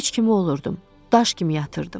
heç kim olurdum, daş kimi yatırdım.